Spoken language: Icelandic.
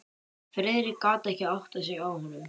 Friðrik gat ekki áttað sig á honum.